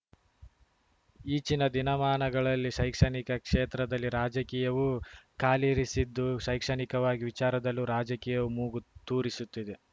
ಈಚಿನ ದಿನಮಾನಗಳಲ್ಲಿ ಶೈಕ್ಷಣಿಕ ಕ್ಷೇತ್ರದಲ್ಲಿ ರಾಜಕೀಯವೂ ಕಾಲಿರಿಸಿದ್ದು ಶೈಕ್ಷಣಿಕವಾಗಿ ವಿಚಾರದಲ್ಲೂ ರಾಜಕೀಯವು ಮೂಗು ತೂರಿಸುತ್ತಿದೆ